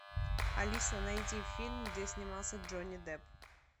алиса найди фильм где снимался джонни депп